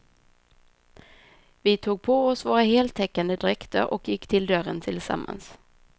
Vi tog på oss våra heltäckande dräkter och gick till dörren tillsammans.